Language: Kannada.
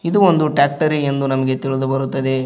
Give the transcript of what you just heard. ಇದು ಒಂದು ಟ್ರ್ಯಾಕ್ಟರಿ ಎಂದು ನಮಗೆ ತಿಳಿದು ಬರುತ್ತದೆ.